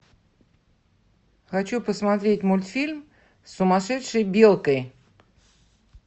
хочу посмотреть мультфильм с сумасшедшей белкой